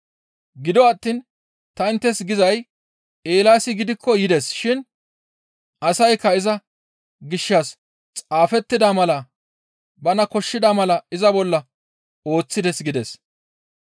Gido attiin ta inttes gizay Eelaasi gidikko yides shin asaykka iza gishshas xaafettida mala bana koshshida mala iza bolla ooththides» gides.